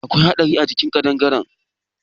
Akwai haɗari a cin ƙadangare.